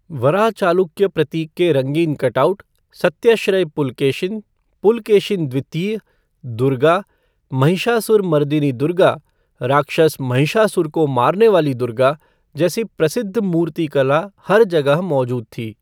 वराह चालुक्य प्रतीक के रंगीन कटआउट, सत्यश्रय पुलकेशिन पुलकेशिन द्वितीय , दुर्गा, महिषासुरमर्दिनी दुर्गा राक्षस महिषासुर को मारने वाली दुर्गा जैसी प्रसिद्ध मूर्तिकला हर जगह मौजूद थी।